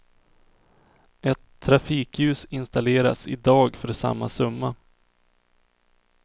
Ett trafikljus installeras i dag för samma summa.